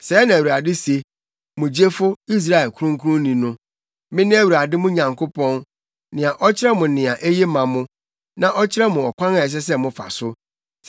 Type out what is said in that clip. Sɛɛ na Awurade se, mo gyefo, Israel Kronkronni no: “Mene Awurade mo Nyankopɔn, nea ɔkyerɛ mo nea eye ma mo, na ɔkyerɛ mo ɔkwan a ɛsɛ sɛ mofa so.